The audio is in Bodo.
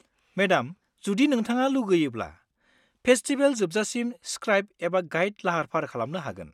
मेडाम जुदि नोंथाङा लुगैयोब्ला, फेस्टिबेल जोबसाजिम स्क्राइब एबा गाइड लाहार-फाहार खालामनो हागोन।